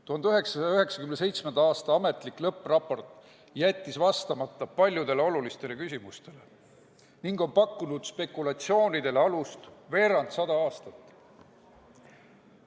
1997. aasta ametlik lõppraport jättis vastamata paljudele olulistele küsimustele ning on pakkunud spekulatsioonidele alust veerandsada aastat.